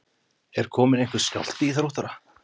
Er kominn einhver skjálfti í Þróttara?